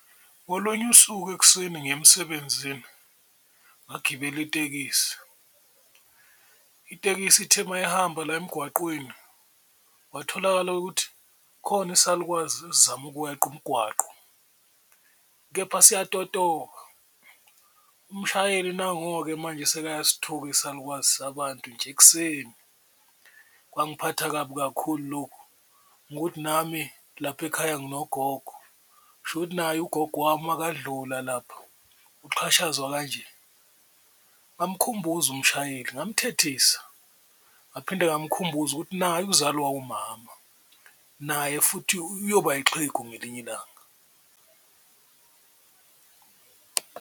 Ngolunye usuku ekuseni ngiya emsebenzini ngagibela itekisi, itekisi ithe uma ihamba la emgwaqweni kwatholakala ukuthi khona isalukwazi esizama ukweqa umgwaqo kepha siyatotoba, umshayeli nango-ke manje sekayasithuka isalukwazi sabantu nje ekuseni. Kwangiphatha kabi kakhulu lokhu ngokuthi nami lapha ekhaya nginogogo kushukuthi naye ugogo wami makadlula lapha ukuxhashazwa kanje, bamkhumbuza umshayeli ngamthethisa ngaphinde ngamkhumbuza ukuthi naye uzalwa umama naye futhi uyoba ixhegu ngelinye ilanga.